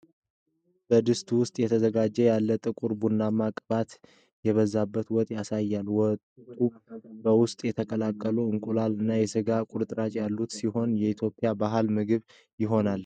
በድስት ውስጥ እየተዘጋጀ ያለ ጥቁር ቡናማና ቅባት የበዛበት ወጥ ያሳያል፤ ወጡ በውስጡ የተቀቀሉ እንቁላሎች እና የስጋ ቁርጥራጮች ያሉት ሲሆን የኢትዮጵያ ባህላዊ ምግብ አይሆንም?